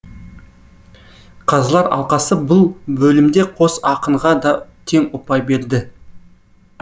қазылар алқасы бұл бөлімде қос ақынға да тең ұпай берді